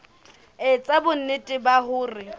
e etsa bonnete ba hore